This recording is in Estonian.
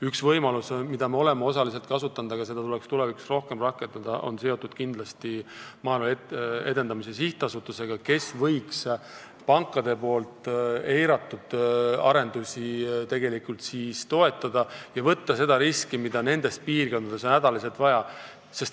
Üks võimalus, mida me oleme osaliselt kasutanud, aga mida tuleks tulevikus rohkem rakendada, on seotud Maaelu Edendamise Sihtasutusega, kes võiks pankade eiratud arendusi toetada ja võtta selle riski, mida on hädaliselt vaja nendele piirkondadele.